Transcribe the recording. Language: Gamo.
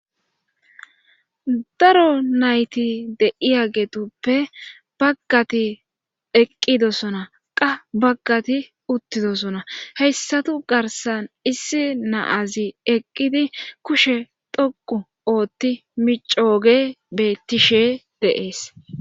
daro nayti de'iyagetuppe baggati eqqidosoona qa baggati uttidosonna heyssatu garssan issi naazi eqqidi kushe dhoqqu ootti micooge beettishe de'ees